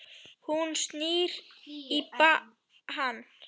Hún snýr baki í hann.